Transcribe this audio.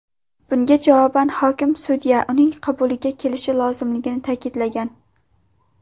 Bunga javoban hokim sudya uning qabuliga kelishi lozimligini ta’kidlagan.